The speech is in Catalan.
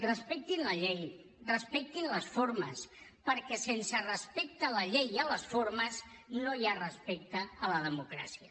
respectin la llei respectin les formes perquè sense respecte a la llei i a les formes no hi ha respecte a la democràcia